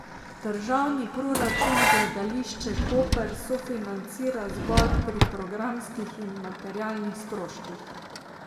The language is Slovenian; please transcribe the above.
Državni proračun Gledališče Koper sofinancira zgolj pri programskih in materialnih stroških.